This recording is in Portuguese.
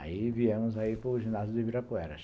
Aí viemos aí para o ginásio de Ibirapuera.